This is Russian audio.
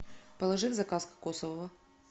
положи в заказ кокосового